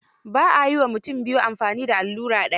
Ba a yi wa mutum biyu amfani da allura daya.